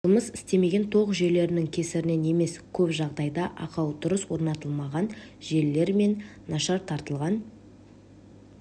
жұмыс істемеген тоқ жүйелерінің кесірінен емес көп жағдайда ақау дұрыс орнатылмаған желілер мен нашар тартылған